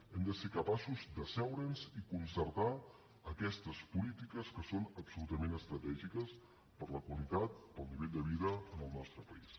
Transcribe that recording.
hem de ser capaços d’asseure’ns i concertar aquestes polítiques que són absolutament estratègiques per a la qualitat per al nivell de vida en el nostre país